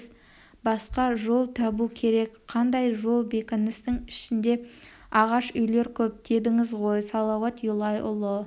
басқа жол табу керек қандай жол бекіністің ішінде ағаш үйлер көп дедіңіз ғой салауат юлай ұлы